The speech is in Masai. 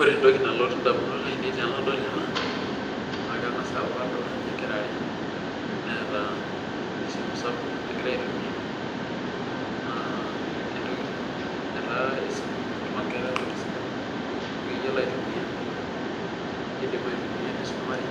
Ore entoki nalotu ndamunot ainei tanadol ena na kengas aaku kadolta nkera are naata simui nagira aitumia na entoki etaa esimu entoki sidai nikobaitunia kidik aitumia nisumare